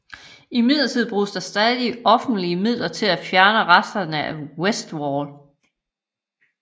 Imidlertid bruges der stadig offentlige midler til at fjerne resterne af Westwall